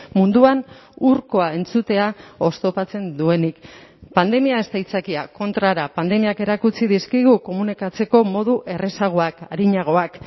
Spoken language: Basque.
munduan hurkoa entzutea oztopatzen duenik pandemia ez da aitzakia kontrara pandemiak erakutsi dizkigu komunikatzeko modu errazagoak arinagoak